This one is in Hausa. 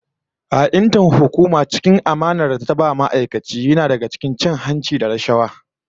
Ha'intar hukuma a cikin amanar da ta ba ma'aikaci yana daga cikin cin hanci da rashawa